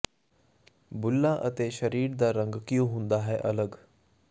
ਬੁੱਲਾਂ ਅਤੇ ਸਰੀਰ ਦਾ ਰੰਗ ਕਿਉ ਹੁੰਦਾ ਹੈ ਅਲੱਗ